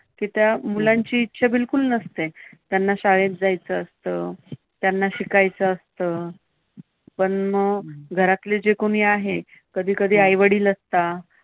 की त्या मुलांची इच्छा बिलकुल नसते. त्यांना शाळेत जायचं असतं. त्यांना शिकायचं असतं. पण मग घरातले जे कोणी आहेत, कधीकधी आई वडील नसतात